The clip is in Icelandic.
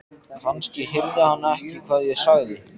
Kannski heyrði hann ekki hvað ég sagði.